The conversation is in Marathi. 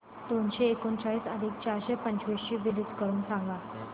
दोनशे एकोणचाळीस अधिक चारशे पंचवीस ची बेरीज करून सांगा